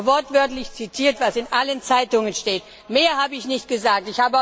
Ich habe wortwörtlich zitiert, was in allen Zeitungen steht. Mehr habe ich nicht gesagt.